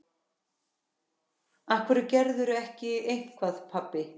Af hverju gerirðu ekki eitthvað, pabbi?